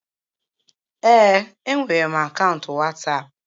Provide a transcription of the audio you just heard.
Ee, enwere m akaụntụ Wasapu